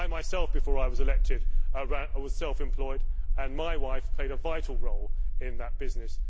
I myself, before I was elected, was self employed and my wife played a vital role in that business.